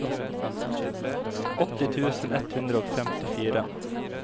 åtti tusen ett hundre og femtifire